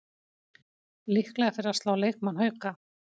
Líklega fyrir að slá leikmann Hauka